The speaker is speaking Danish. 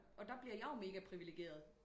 Og der bliver jeg jo mega privilegerert